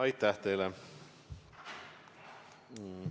Aitäh teile!